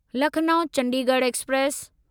Lucknow Chandigarh express